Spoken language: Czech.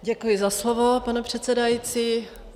Děkuji za slovo, pane předsedající.